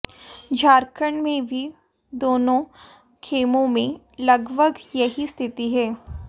झारखंड में भी दोनों खेमों में लगभग यही स्थिति है